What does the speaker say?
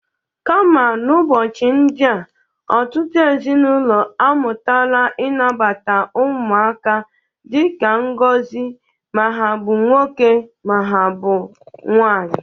Kama n'ụbọchị ndị a, ọtụtụ ezinaụlọ amụtala ịnabata ụmụaka dịka ngozi ma ha bụ nwoke, ma ha bụ nwanyị.